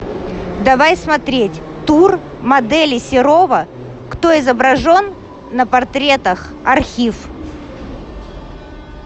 давай смотреть тур модели серова кто изображен на портретах архив